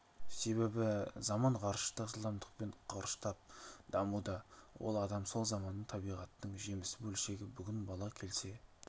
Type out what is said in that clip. себебі заман ғарыштық жылдамдықпен қарыштап дамуда ал адам сол заманның табиғаттың жемісі бөлшегі бүгін бала келсе